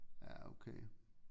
Ja okay